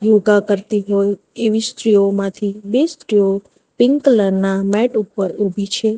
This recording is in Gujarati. યોગા કરતી હોય એવી સ્ત્રીઓ માંથી બે સ્ત્રીઓ પિંક કલર ના મેટ ઉપર ઊભી છે.